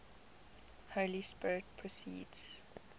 holy spirit proceeds